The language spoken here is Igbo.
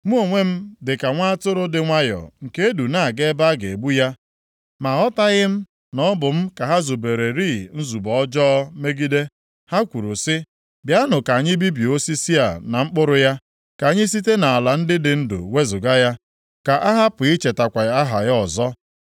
Mụ onwe m dị ka nwa atụrụ dị nwayọọ nke e du na-aga ebe a ga-egbu ya. Ma aghọtaghị m na ọ bụ m ka ha zubererị nzube ọjọọ megide. Ha kwuru sị, “Bịanụ ka anyị bibie osisi a na mkpụrụ ya. Ka anyị site nʼala ndị dị ndụ wezuga ya, ka a hapụ ichetakwa aha ya ọzọ”